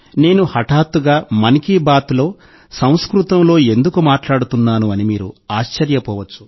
నేను హఠాత్తుగా 'మన్ కీ బాత్'లో సంస్కృతంలో ఎందుకు మాట్లాడుతున్నాను అని మీరు ఆశ్చర్యపోవచ్చు